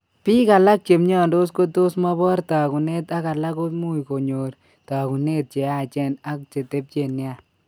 Biik alak che mnyandos kotos mobor taakunet ak alak ko much konyor taakunet che yachen ak chetepche nia.